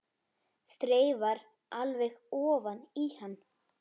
Þreifar alveg ofan í hann.